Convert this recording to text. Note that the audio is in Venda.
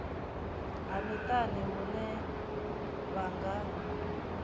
ha miṱani hune vha nga